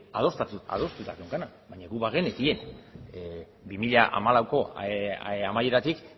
adostuta geneukana baina guk bagenekien bi mila hamalauko amaieratik